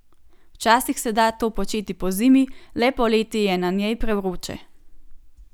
Včasih se da to početi celo pozimi, le poleti je na njej prevroče.